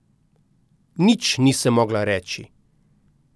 Nič nisem mogla reči.